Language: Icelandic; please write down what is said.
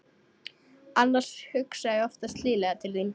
Annars hugsa ég oftast hlýlega til þín.